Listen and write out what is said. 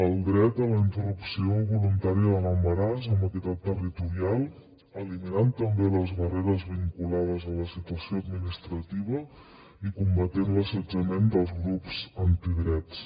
el dret a la interrupció voluntària de l’embaràs amb equitat territorial eliminant també les barreres vinculades a la situació administrativa i combatent l’assetjament dels grups antidrets